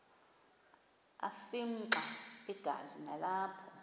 afimxa igazi nalapho